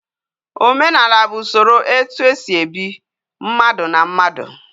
Omenala bu Usoro etu esi ebi, mmadu na mmadu